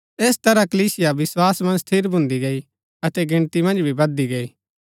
ऐस तरह कलीसिया विस्वास मन्ज स्थिर भून्दी गई अतै गिणती मन्ज भी बधदी गई